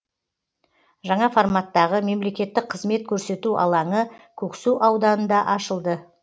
жаңа форматтағы мемлекеттік қызмет көрсету алаңы көксу ауданында ашылды